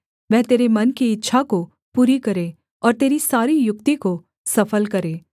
वह तेरे मन की इच्छा को पूरी करे और तेरी सारी युक्ति को सफल करे